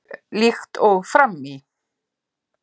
Líkt og fram í